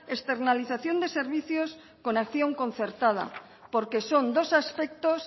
externalización de servicios con acción concertada porque son dos aspectos